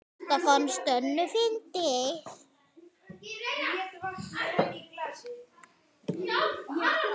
Þetta fannst Döddu fyndið.